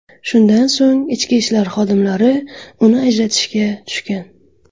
Shundan so‘ng ichki ishlar xodimlari uni ajratishga tushgan.